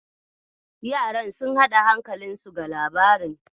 Yaran sun haɗa hankalinsu ga labarin.